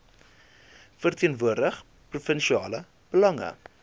verteenwoordig provinsiale belange